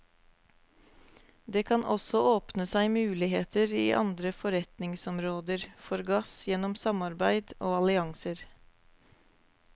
Det kan også åpne seg muligheter i andre forretningsområder for gass gjennom samarbeid og allianser.